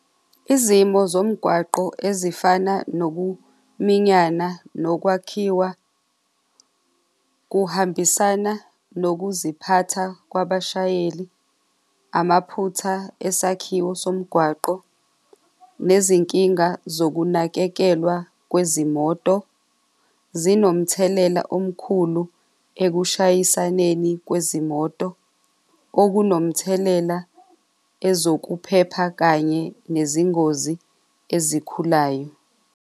Izimo zomgwaqo ezifana nokuminyana nokwakhiwa kuhambisana nokuziphatha kwabashayeli amaphutha esakhiwe somgwaqo nezinkinga zokunakekelwa kwezimoto zinomthelela omkhulu ekushayisaneni kwezimoto okunomthelela ezokuphepha kanye nezingozi ezikhulayo.